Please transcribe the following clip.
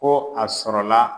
Ko a sɔrɔla